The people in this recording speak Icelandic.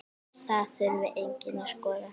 Það þurfi einnig að skoða.